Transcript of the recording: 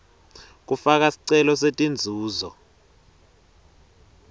kufaka sicelo setinzuzo